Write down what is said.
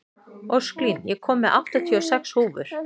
Ósklín, ég kom með áttatíu og sex húfur!